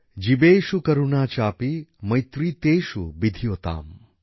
জীবেষু করুণা চাপি মৈত্রী তেষু বিধিয়তাম